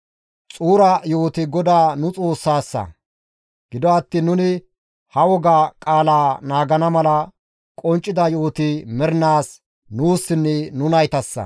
Xuura yo7oti GODAA nu Xoossassa; gido attiin nuni ha woga qaalaa naagana mala qonccida yo7oti mernaas nuussinne nu naytassa.